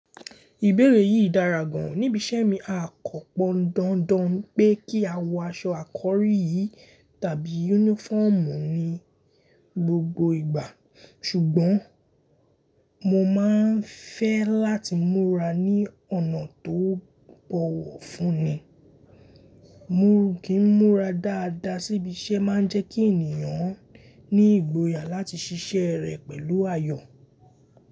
Ìbéèrè yìí dára gan an. Níbi iṣẹ́ mi, akọ́ pọ́n dandan pé kí a wọ aṣọ àkọ́rí yìí tàbí uniformu ní gbogbo ìgbà. Ṣùgbọ́n mo máa ń fẹ́ láti múra ní ọ̀nà tó bọ̀wọ̀ fún ni. Mo kì ń múra dáadáa síbi iṣẹ́ máa ń jẹ́ kí ènìyàn ní ìgboyà láti ṣiṣẹ́ rẹ̀ pẹ̀lú ayọ̀.